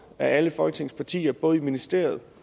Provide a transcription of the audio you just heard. af alle folketingets partier både i ministeriet